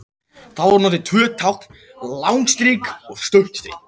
Þar eru notuð tvö tákn, langt strik og stutt strik.